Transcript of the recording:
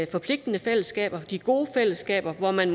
forpligtende fællesskaber de gode fællesskaber hvor man